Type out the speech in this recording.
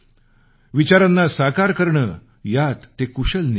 विचारांना साकार करणं यात ते कुशल निपुण होते